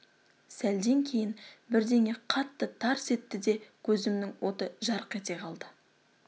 сәлден кейін бірдеңе қатты тарс етті де көзімнің оты жарқ ете қалды